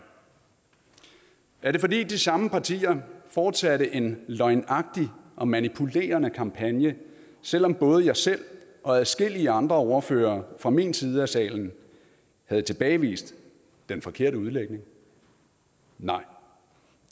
er det fordi de samme partier fortsatte en løgnagtig og manipulerende kampagne selv om både jeg selv og adskillige andre ordførere fra min side af salen havde tilbagevist den forkerte udlægning nej